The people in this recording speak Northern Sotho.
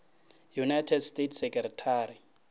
united states secretary